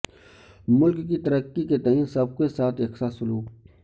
ملک کی ترقی کے تئیں سب کے ساتھ یکساں سلوک